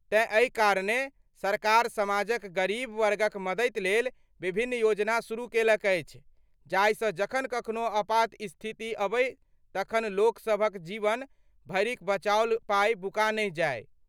तेँ एहि कारणेँ सरकार समाजक गरीब वर्गक मदति लेल विभिन्न योजना शुरू केलक अछि, जाहिसँ जखन कखनो आपात स्थिति अबै तखन लोकसभक जीवन भरिक बचाओल पाइ बुका नहि जाइ।